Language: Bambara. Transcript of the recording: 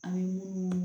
An ye munnu